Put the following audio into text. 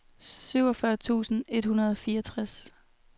syvogfyrre tusind et hundrede og fireogtres